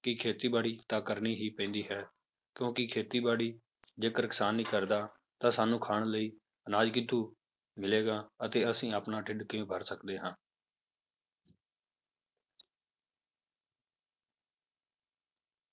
ਕਿ ਖੇਤੀਬਾੜੀ ਤਾਂ ਕਰਨੀ ਹੀ ਪੈਂਦੀ ਹੈ ਕਿਉਂਕਿ ਖੇਤੀਬਾੜੀ ਜੇਕਰ ਕਿਸਾਨ ਨਹੀਂ ਕਰਦਾ ਤਾਂ ਸਾਨੂੰ ਖਾਣ ਲਈ ਅਨਾਜ ਕਿੱਥੋਂ ਮਿਲੇਗਾ ਅਤੇ ਅਸੀਂ ਆਪਣਾ ਢਿੱਡ ਕਿਵੇਂ ਭਰ ਸਕਦੇ ਹਾਂ।